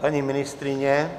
Paní ministryně?